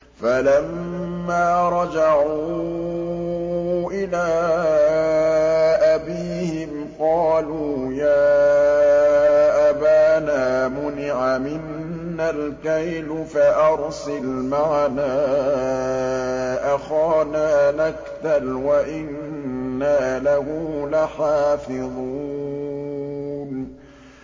فَلَمَّا رَجَعُوا إِلَىٰ أَبِيهِمْ قَالُوا يَا أَبَانَا مُنِعَ مِنَّا الْكَيْلُ فَأَرْسِلْ مَعَنَا أَخَانَا نَكْتَلْ وَإِنَّا لَهُ لَحَافِظُونَ